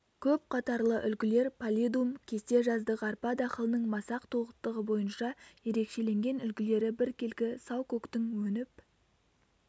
көп қатарлы үлгілер паллидум кесте жаздық арпа дақылының масақ толықтығы бойынша ерекшеленген үлгілері біркелкі сау көктің өніп